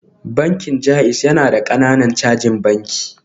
Bankin JAIZ yana da ƙananan cajin banki